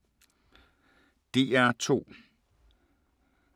DR2